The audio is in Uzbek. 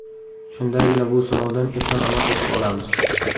Shundagina bu sinovdan eson-omon o‘tib olamiz.